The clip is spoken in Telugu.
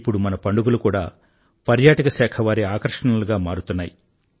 ఇప్పుడు మన పండుగలు కూడా పర్యాటక శాఖ వారి ఆకర్షణలుగా మారుతున్నాయి